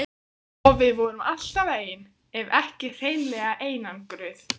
Og við vorum alltaf ein ef ekki hreinlega einangruð.